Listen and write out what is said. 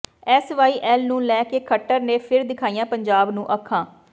SYL ਨੂੰ ਲੈ ਕੇ ਖੱਟਰ ਨੇ ਫਿਰ ਦਿਖਾਈਆਂ ਪੰਜਾਬ ਨੂੰ ਅੱਖਾਂ